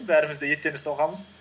бәріміз де еттен жасалғанбыз